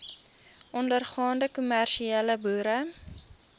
ondergaande kommersiële boere